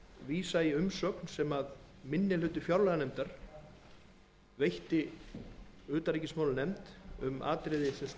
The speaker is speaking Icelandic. í umsögn sem minni hluti fjárlaganefndar veitti utanríkismálanefnd um atriði sem snúa að ríkissjóði